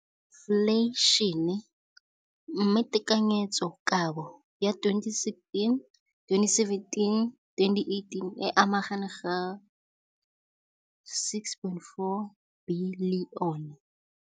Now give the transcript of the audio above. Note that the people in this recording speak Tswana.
Infleišene, mme tekanyetsokabo ya 2017, 18, e magareng ga R6.4 bilione.